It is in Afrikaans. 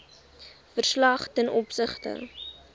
verslag ten opsigte